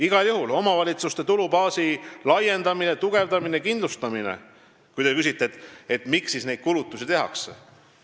Igal juhul tuleb omavalitsuste tulubaasi laiendada, tugevdada ja kindlustada, ütlen ma, kui te küsite, miks neid kulutusi tehakse.